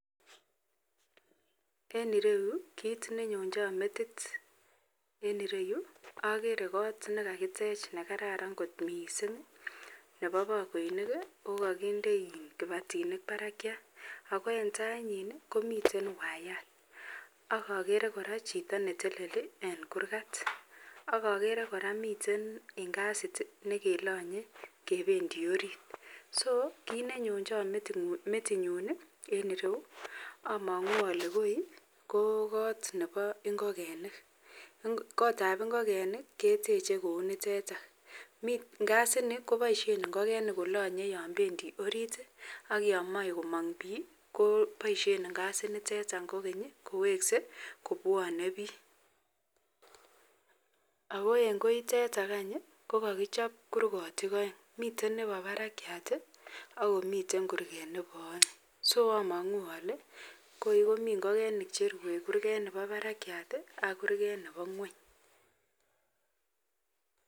En ireu ko kit nenyonjam metit ko kot nekakitech nekararan mising nebo bakoinik okakindw kibatinik Barak ako en tai yin komiten waiyat agere kora Chito neteleli en kurgat agere koraa Kole miten ngasit nekelanye kebendi orit ako kit nenyonchon metinyun en iroyu amangu Kole Koi ko kot Nebo invegenik kotab ingekenik keteche kounitetan ngazi niton kobaishen ingogenik kolanye Yan bendi orit akoyamae komang bik kobaishen ingasit niteton kogeny kowekse kobwanen bi ako en koiteton kokakichop kurgotik aeng miten Nebo Barak akomiten kurget Nebo aeng ako amangu Kole goi komiten ingogenik Chemiten Nebo Barak AK Nebo ngweny